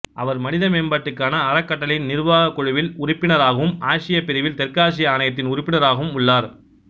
அவர் மனித மேம்பாட்டுக்கான அறக்கட்டளையின் நிர்வாகக் குழுவில் உறுப்பினராகவும் ஆசியப் பிரிவில் தெற்காசிய ஆணையத்தின் உறுப்பினராகவும் உள்ளார்